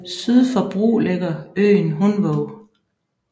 Syd for Bru ligger øen Hundvåg